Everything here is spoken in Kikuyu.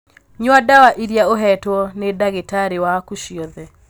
Nyua ndawa iria uhetwo nĩdagĩtarĩwaku ciothe.